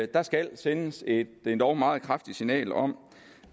der skal sendes et endog meget kraftigt signal om